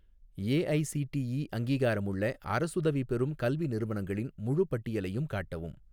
AICTE அங்கீகாரமுள்ள அரசுதவி பெறும் கல்வி நிறுவனங்களின் முழுப் பட்டியலையும் காட்டவும்